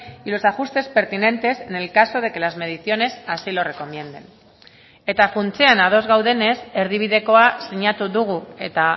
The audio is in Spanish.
y los ajustes pertinentes en el caso de que las mediciones así lo recomienden eta funtsean ados gaudenez erdibidekoa sinatu dugu eta